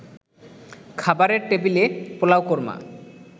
খাবারের টেবিলে পোলাও-কোরমা